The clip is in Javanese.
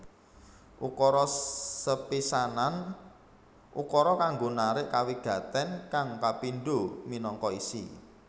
Ukara sepisanan ukara kanggo narik kawigatèn kang kapindho minangka isi